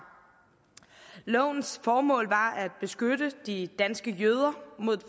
lovens formål var at beskytte de danske jøder